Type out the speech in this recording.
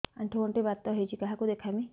ଆଣ୍ଠୁ ଗଣ୍ଠି ବାତ ହେଇଚି କାହାକୁ ଦେଖାମି